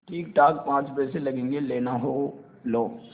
ठीकठाक पाँच पैसे लगेंगे लेना हो लो